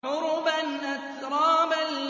عُرُبًا أَتْرَابًا